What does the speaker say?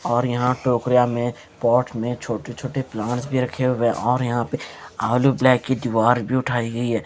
और यहां टोकरिया में पॉट में छोटे-छोटे प्लांट्स भी रखे हुए हैं और यहां पे आलू ब्लै की दीवार भी उठाई गई है ।